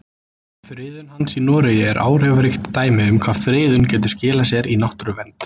Friðun hans í Noregi er áhrifaríkt dæmi um hvað friðun getur skilað sér í náttúruvernd.